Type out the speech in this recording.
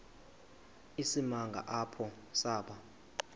isimanga apho saba